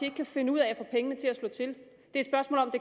ikke kan finde ud af at få pengene til at slå til